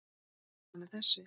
Niðurstaðan er þessi